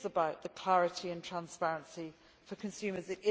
It is about clarity and transparency for consumers.